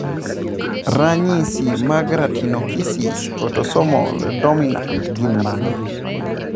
Ranyisi mag Retinoschisis autosomal dominat gin mage?